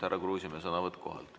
Härra Kruusimäe, sõnavõtt kohalt.